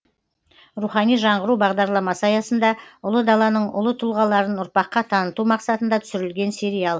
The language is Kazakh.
рухани жаңғыру бағдарламасы аясында ұлы даланың ұлы тұлғаларын ұрпаққа таныту мақсатында түсірілген сериал